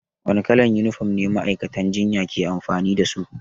Wane kalar yunifom ne ma'aikatan jinya ke amfani da su?